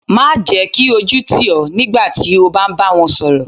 Má jẹ́ kí ojú tì ọ nígbà tí o bá ń bá wọn sọ̀rọ̀.